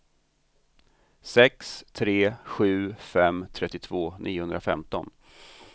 sex tre sju fem trettiotvå niohundrafemton